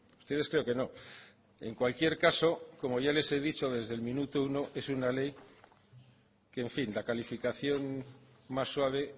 ustedes creo que no en cualquier caso como ya les he dicho desde el minuto uno es una ley que en fin la calificación más suave